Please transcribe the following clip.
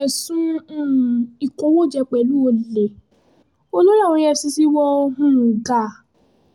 ẹ̀sùn um ìkówóje pẹ̀lú olè olórí àwọn efcc wọ um gà